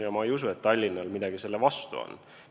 Ja ma ei usu, et Tallinnal midagi selle vastu on.